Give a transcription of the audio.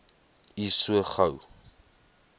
u so gou